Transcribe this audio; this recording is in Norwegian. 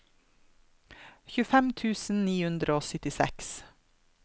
tjuefem tusen ni hundre og syttiseks